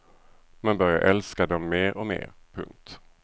Man börjar älska dem mer och mer. punkt